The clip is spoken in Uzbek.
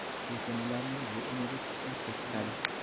Lekin ularning bu umidi chippakka chiqadi.